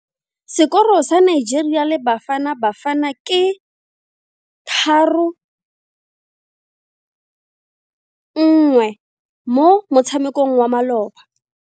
Sekoro sa Nigeria le Bafanabafana ke 3-1 mo motshamekong wa maloba.